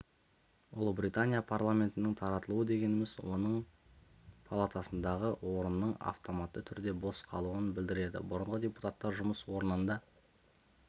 ұлыбритания парламентінің таратылуы дегеніміз оның палатасындағы орынның автоматты түрде бос қалуын білдіреді бұрынғы депутаттар жұмыс орнында